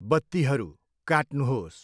बत्तीहरू काट्नुहोस्।